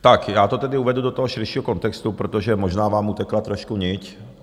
Tak, já to tedy uvedu do toho širšího kontextu, protože možná vám utekla trošku nit.